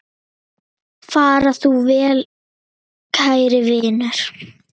Far þú vel, kæri vinur.